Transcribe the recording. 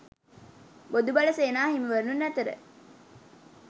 බොදු බල සේනා හිමිවරුන් අතර